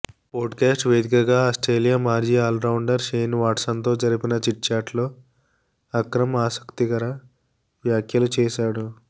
podcast వేదికగా Australia మాజీ allrounder Shane వాట్సన్తో జరిపిన చిట్చాట్లో అక్రమ్ ఆసక్తికర వ్యాఖ్యలు చేశాడు